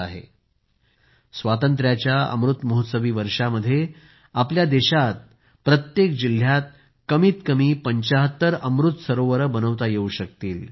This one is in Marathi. त्याचप्रमाणे स्वातंत्र्याच्या अमृत महोत्सवी वर्षामध्ये आपल्या देशामध्ये प्रत्येक जिल्ह्यात कमीत कमी 75 अमृत सरोवर बनवता येवू शकतील